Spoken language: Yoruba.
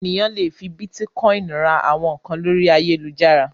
Ènìyàn le fi bítíkọ́ìn ra àwọn nǹkan lórí ayálujára.